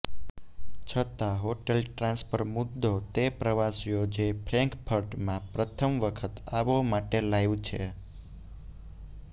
છતાં hotel transfer મુદ્દો તે પ્રવાસીઓ જે ફ્રેન્કફર્ટ માં પ્રથમ વખત આવો માટે લાઇવ છે